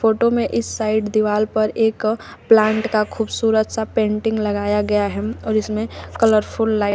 photo में इस side दीवाल पर एक प्लांट का खूबसूरत सा पेंटिंग लगाया गया हैम और इसमें कलरफुल लाइट --